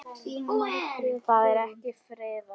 Það er ekki friðað.